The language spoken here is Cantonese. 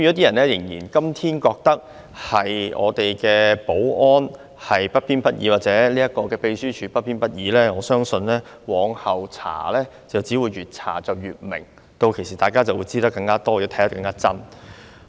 人們今天仍然認為我們的保安人員或秘書處職員不偏不倚，但我相信往後的調查會令真相越來越清晰，屆時大家便會掌握到更多的事實。